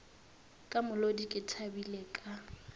ka molodi ke thabile ka